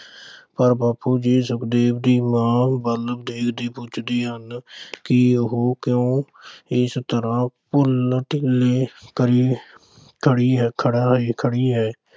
ਤਾਂ ਬਾਪੂ ਜੀ ਸੁਖਦੇਵ ਦੀ ਮਾਂ ਵੱਲ ਦੇਖਦੇ ਪੁੱਛਦੇ ਹਨ ਕਿ ਉਹ ਕਿਉਂ ਇਸ ਤਰ੍ਹਾਂ ਢਿੱਲਮ-ਢਿੱਲੀ ਪਈ, ਅਹ ਖੜ੍ਹੀ ਹੈ।